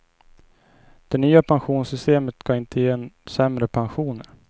Det nya pensionssystemet ska inte ge sämre pensioner.